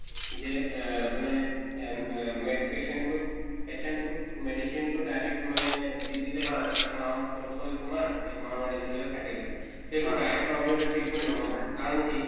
যে এ মানে এ মে main patient টোক patient টোক medicine টো direct মানে দি দিলে , এক মাহৰ course হয় তোমাৰ এক মাহৰ medicine লৈ যাবা খাই থাকিবা । এইটো direct observation treatment নহয় । কাৰণ কি